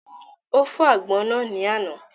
Ó fọ́ àgbọn náà ni àná